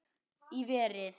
Í verið